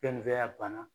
Pɛntiriya banna